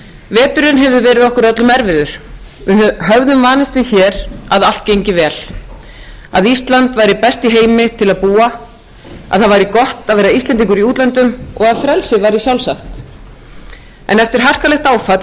veturinn hefur verið okkur öllum erfiður við höfðum álitið hér að allt gengi vel að ísland væri best í heimi til að búa og að það væri gott að vera íslendingur í útlöndum og að frelsi væri sjálfsagt en eftir harkalegt áfall